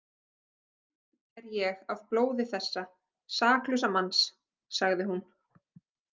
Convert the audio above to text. Sýkn er ég af blóði þessa saklausa manns, sagði hún.